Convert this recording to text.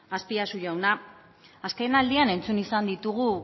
azpiazu jauna azkenaldian entzun izan ditugu